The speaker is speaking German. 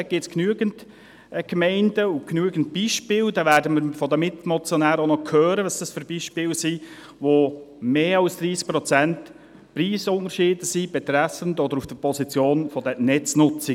Dort gibt es genügend Gemeinden und genügend Beispiele – wir werden von den Mitmotionären noch hören, was das für Beispiele sind – mit Preisunterschieden von mehr als 30 Prozent auf der Position der Netznutzungen.